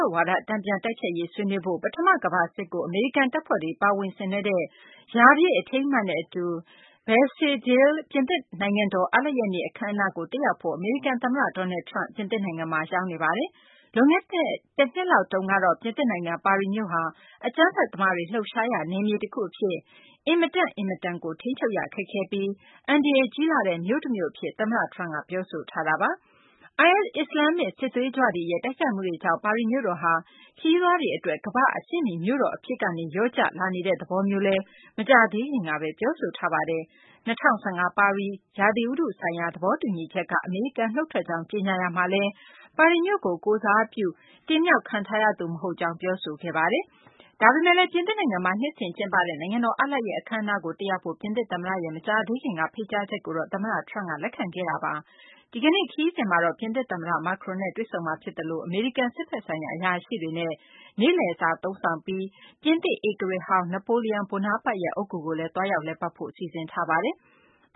က်ဝါဒ တန်ပြန်တိုက်ဖျက်ရေး ဆွေးနွေးဖို့၊ ပထမကမ္ဘာစစ်ကို အမေရိကန်တပ်ဖွဲ့တွေ ပါဝင်ဆင်နွဲှတဲ့ ရာပြည့်အထိမ်းအမှတ်နဲ့အတူ Bastille Day ပြင်သစ်နိုင်ငံတော် အားလပ်ရက်နေ့ အခန်းအနားကို တက်ရောက်ဖို့ အမေရိကန် သမ္မတ Donald Trump ပြင်သစ်နိုင်ငံမှာ ရောက်နေပါတယ်။ လွန်ခဲ့တဲ့ တနှစ်လောက်တုန်းကတော့ ပြင်သစ်နိုင်ငံ ပါရီမြို့ဟာ အကြမ်းဖက်သမားတွေ လှုပ်ရှားရာ နယ်မြေတခုအဖြစ် အင်မတန့်အင်မတန်ကို ထိန်းချုပ်ရခက်ခဲပြီး၊ အန္တရာယ်ကြီးလှတဲ့ မြို့တမြို့အဖြစ် သမ္မတ Trump က ပြောဆိုထားတာပါ။ IS အစ္စလာမ်စစ်သွေးကြွတွေရဲ့ တိုက်ခိုက်မှုတွေကြောင့် ပါရီမြို့တော်ဟာ ခရီးသွားတွေကြား ရေပမ်းစားတဲ့ ကမ္ဘာ့အဆင့်မီ မြို့တော်အဖြစ်ကနေ လျော့ကျလာနေတဲ့ သဘောမျိုးလည်း မကြာသေးခင်ကပဲ ပြောဆိုထားပါတယ်။ ကာဗွန်ဓာတ်ငွေ့ ထုတ်လုပ်မှုတွေကို ထိန်းချုပ်ဖို့ ရည်ရွယ်ထားတဲ့ ၂၀၁၅ ပါရီ ရာသီဥတုဆိုင်ရာ သဘောတူညီချက်က အမေရိကန် နှုတ်ထွက်ကြောင်း ကြေညာရာမှာလည်း၊ အမေရိကန် ပြည်ထောင်စု Pittsburgh မြို့ကို ကိုယ်စားပြုတဲ့ သမ္မတသာဖြစ်ပြီး၊ ပါရီကို ကိုယ်စားပြု ရွေးကောက်တင်မြှောက်ခံထားရသူ မဟုတ်ကြောင်း ပြောဆိုထားတာပါ။ ဒါပေမဲ့လည်း ပြင်သစ်နိုင်ငံမှာ နှစ်စဉ်ကျင်းပတဲ့ နိုင်ငံတော် အားလပ်ရက် အခန်းအနားကို တက်ရောက်ဖို့ ပြင်သစ်သမ္မတရဲ့ မကြာသေးခင်က ဖိတ်ကြားချက်ကိုတော့ သမ္မတ Trump က လက်ခံခဲ့ပါတယ်။ သမ္မတ Trump ရဲ့ ဒီကနေ့ ခရီးစဉ်မှာတော့ ပြင်သစ်သမ္မတ Macron နဲ့ တွေ့ဆုံမှာဖြစ်သလို၊ အမေရိကန် စစ်ဘက်ဆိုင်ရာ အရာရှိတွေနဲ့ နေ့လည်စာသုံးဆောင်ပြီး၊ ပြင်သစ်ဧကရာဇ်ဟောင်း Napoleon Bonaparte ရဲ့ အုတ်ဂူကိုလည်း သွားရောက် လည်ပတ်ဖို့ စီစဉ်ထားပါတယ်။